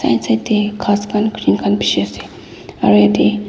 bishi ase aru yat teh.